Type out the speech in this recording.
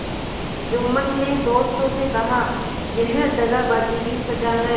जुम्मन ने दोस्तों से कहायह दगाबाजी की सजा है